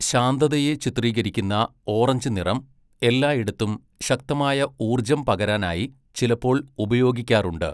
ശാന്തതയെ ചിത്രീകരിക്കുന്ന ഓറഞ്ച് നിറം എല്ലായിടത്തും ശക്തമായ ഊർജ്ജം പകരാനായി ചിലപ്പോൾ ഉപയോഗിക്കാറുണ്ട്.